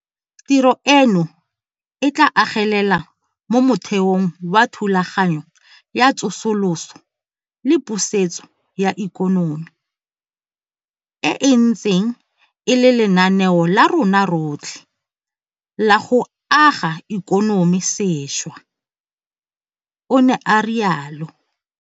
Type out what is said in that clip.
Tiro eno e tla agelela mo motheong wa Thulaganyo ya Tsosoloso le Pusetso ya Ikonomi, e e ntseng e le lenaneo la rona rotlhe la go aga ikonomi sešwa, o ne a rialo.